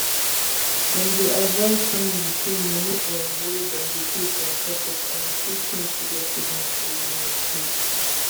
dem dey advise families say money um wey dem go pay from pocket um fit change to get quick and affordable healthcare